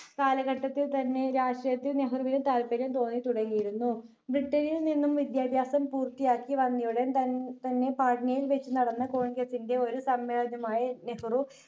കാലഘട്ടത്തിൽ തന്നെ രാഷ്ട്രീയത്തിൽ നെഹ്‌റുവിന് താല്പര്യം തോന്നിത്തുടങ്ങിയിരുന്നു ബ്രിട്ടണിൽ നിന്നും വിദ്യാഭ്യാസം പൂർത്തിയാക്കി വന്നയുടൻ തൻ തന്നെ പാട്നയിൽ വച്ച് നടന്ന congress ന്റെ ഒരു സമ്മേളനമായ നെഹ്‌റു